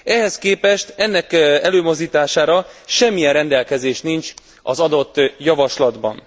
Ehhez képest ennek előmozdítására semmilyen rendelkezés nincs az adott javaslatban.